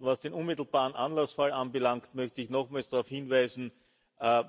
Was den unmittelbaren Anlassfall anbelangt, möchte ich nochmals darauf hinweisen